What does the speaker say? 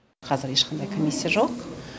қазір ешқандай комиссия жоқ